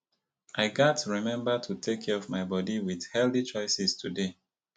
i gats remember to take care of my body with healthy choices today